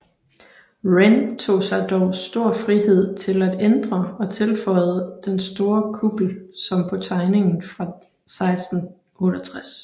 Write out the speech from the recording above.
Wren tog sig dog stor frihed til at ændre og tilføjede den store kuppel som på tegningen fra 1668